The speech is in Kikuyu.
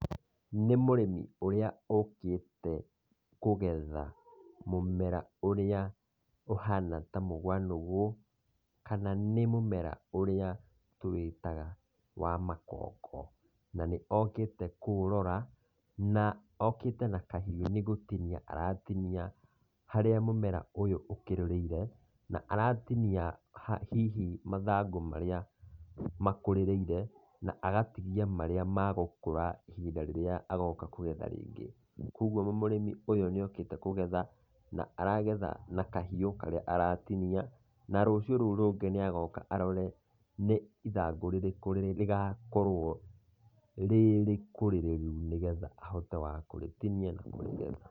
Nĩ mũrĩmi ũrĩa ũkĩte kũgetha mũmera ũrĩa ũhana ta mũgua nũgũ kana nĩ mũmera ũrĩa tũwĩtaga wa makongo, na nĩ okĩte kũũrora na ũkĩte na kahiũ nĩ gũtinia aratinia harĩa mũmera ũyũ ũkĩrũrĩire, na aratinia hihi mathangũ marĩa makũrĩrĩire na agatigia marĩa magakũra ihinda rĩrĩa agoka kũgetha rĩngĩ. Koguo mũrĩmi ũyũ nĩ okĩte kũgetha na aragetha na kahiũ karĩa aratinia na rũcio rũu rũngĩ nĩ agoka arore nĩ ithangũ rĩrĩkũ rĩgakorwo rĩrĩkũrĩrĩru nĩgetha ahote wa kũrĩtinia na kũrĩgetha.